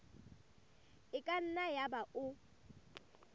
e ka nna yaba o